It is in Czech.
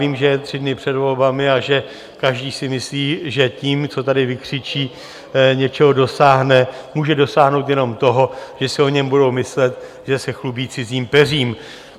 Vím, že je tři dny před volbami a že každý si myslí, že tím, co tady vykřičí, něčeho dosáhne, může dosáhnout jenom toho, že si o něm budou myslet, že se chlubí cizím peřím.